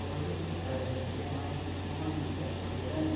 Hoje, es a gente vê mais espuma em peças grandes.